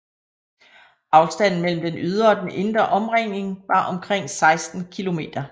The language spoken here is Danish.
Afstanden mellem den ydre og den indre omringning var omkring 16 km